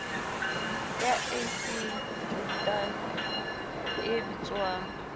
ya ac jordan e bitswang